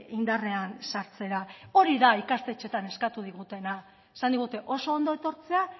indarrean sartzera hori da ikastetxeetan eskatu digutena esan digute oso ondo etortzea